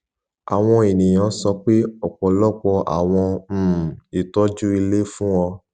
awọn eniyan sọ pe ọpọlọpọ awọn um itọju ile fun o